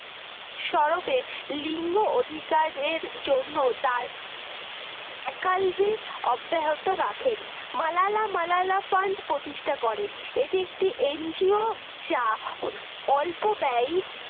সর্বে লিঙ্গ অধিকারের জন্য তার একালবি অব্যাহত রাখেন মালালা মালালা fund প্রতিষ্ঠা করেন এটি একটি NGO যা অল্প ব্যয়ি